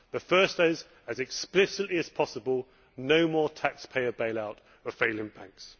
The first is, as explicitly as possible, no more taxpayer bailout for failing banks.